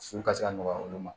Su ka se ka nɔgɔya olu ma